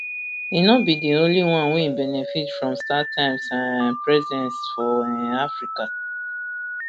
e no be di only one wey benefit from startimes um presence for um africa